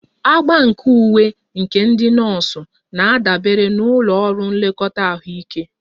Agba nke uwe maka ndị nọọsụ na-adabere na ụlọ ọrụ nlekọta ahụike